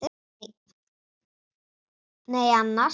Nei annars.